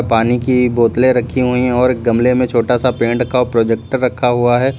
पानी की बोतले रखी हुई हैं और एक गमले में छोटा सा पेड़ रखा प्रोजेक्टर रखा हुआ है।